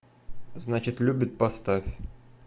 значит любит поставь